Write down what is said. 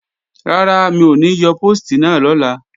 Rárá, mi ò ní yọ póòstì náà lọ́la